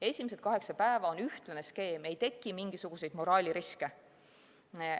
Esimesed kaheksa päeva on ühtlane skeem, ei teki mingisuguseid moraaliriske.